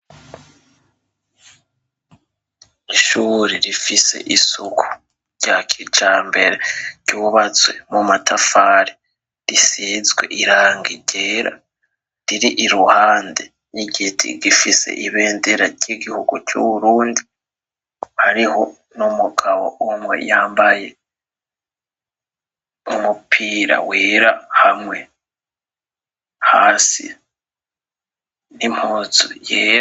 Ishuri rifise isuku rya kija mbere ryubatswe mu matafari risizwe iranga irera riri iruhande n'igiti gifise ibendera ry'igihugu c'uburundi hariho n'umugabo umwe mw yambaye umupira wera hamwe hasi nimpuzu yee.